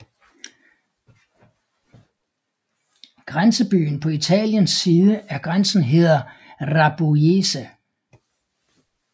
Grænsbyen på Italiens side af grænsen hedder Rabuiese